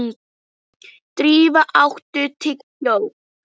Drífa, áttu tyggjó?